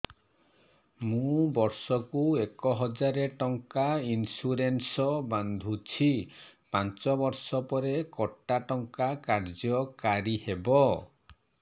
ମୁ ବର୍ଷ କୁ ଏକ ହଜାରେ ଟଙ୍କା ଇନ୍ସୁରେନ୍ସ ବାନ୍ଧୁଛି ପାଞ୍ଚ ବର୍ଷ ପରେ କଟା ଟଙ୍କା କାର୍ଯ୍ୟ କାରି ହେବ